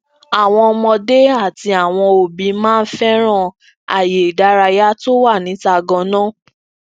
àwọn ọmọdé àti awọn òbí máa ń féràn aaye ìdárayá tó wà níta ganan